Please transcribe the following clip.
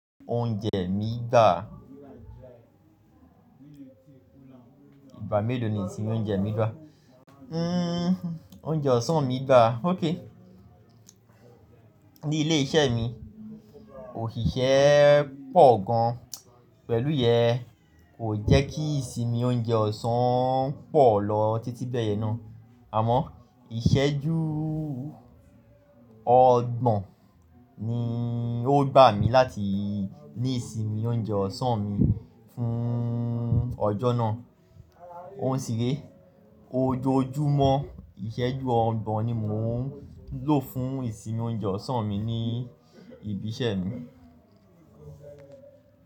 Oúnjẹ mi gbà, ìgbà mélòó ni ìsinmi oúnjẹ mi gbà? Oúnjẹ ọ̀sán mi gbà. Óké. Ní ilé iṣẹ́ mi, òṣìṣẹ́ pọ̀ gan pẹ̀lú yẹn kò jẹ́ kí ìsinmi oúnjẹ ọ̀sán pọ̀ lọ títí bẹ́ẹ̀ yẹn náà. Àmọ́ ìṣẹ́jú ọgbọ̀n ni ó gbà mí láti ní ìsinmi oúnjẹ ọ̀sán mi fún ọjọ́ náà. Òun sì re, ojoojúmọ́ ìṣẹ́jú ọgbọ̀n ni mò ń lò fún ìsinmi oúnjẹ ọ̀sán mi ní ibi iṣẹ́ mi.